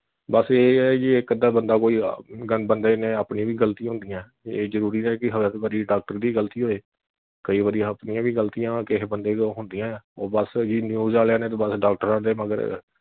ਬਸ ਇਹ ਐ ਜੀ ਇਕ ਅੱਧਾ ਬੰਦਾ ਕੋਈ ਆਹ ਬੰਦੇ ਨੇ ਆਪਣੀ ਵੀ ਗਲਤੀ ਹੁੰਦੀਆਂ ਇਹ ਜਰੂਰੀ ਨਹੀਂ ਕਿ ਹਰ ਵਾਰੀ doctor ਦੀ ਹੀ ਗਲਤੀ ਹੋਵੇ ਕਈ ਵਾਰੀ ਆਪਣੀਆਂ ਵੀ ਗਲਤੀਆਂ ਕਿਹੇ ਬੰਦੇ ਕੋਲ ਹੁੰਦੀਆਂ ਐ ਉਹ ਬਸ news ਵਾਲਿਆ ਨੇ ਬਸ ਡਾਕਟਰਾਂ ਦੇ ਮਗਰ